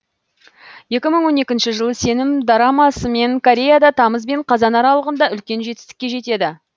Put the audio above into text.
екі мың он екінші жылы сенім дорамасымен кореяда тамыз бен қазан аралығында үлкен жетістікке жетеді